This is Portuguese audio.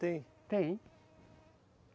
Tem. Tem.